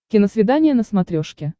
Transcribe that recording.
киносвидание на смотрешке